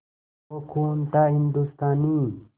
वो खून था हिंदुस्तानी